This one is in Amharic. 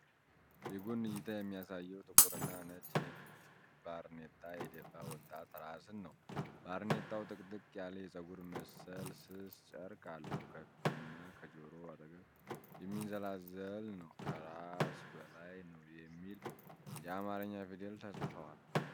የጎን እይታ የሚያሳየው ጥቁርና ነጭ ንድፍ ባርኔጣ የደፋ ወጣት ራስን ነው። ባርኔጣው ጥቅጥቅ ያለ የፀጉር መሰል ስስ ጨርቅ አለው፣ ከፊትና ከጆሮው አጠገብ የሚንዘላዘል ነው። ከራስ በላይ “ነው” የሚል የአማርኛ ፊደላት ተጽፈዋል።